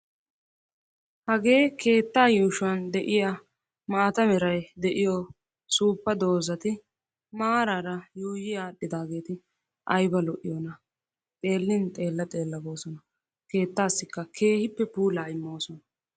Hagee keettaa yuushuwan de"iya maata merayi de"iyo suuppa doozzati maaraara yuuyyi aadhdhidaageeti ayiba lo"iyoonaa. Xeellin xeella xeella goosona. Keettaassikka keehippe puulaa immoosona.